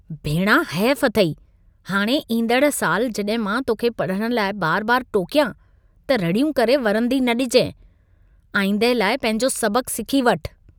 भेणा हेफ अथई! हाणे ईंदड़ साल जॾहिं मां तोखे पढ़ण लाइ बार-बार टोकियां, त रड़ियूं करे वरंदी न ॾिजाइं। आईंदह लाइ पंहिंजो सबक़ सिखी वठ।